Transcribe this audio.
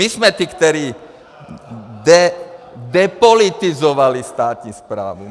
My jsme ti, kteří depolitizovali státní správu.